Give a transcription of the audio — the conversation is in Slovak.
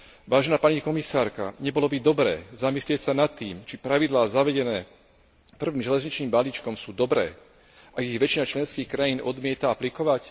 Vážená pani komisárka, nebolo by dobré zamyslieť sa nad tým, či pravidlá zavedené prvým železničným balíkom sú dobré, ak ich väčšina členských krajín odmieta aplikovať?